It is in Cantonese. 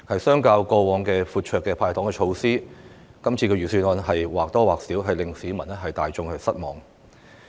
相較於過往闊綽的"派糖"措施，這份預算案或多或少會令市民大眾失望。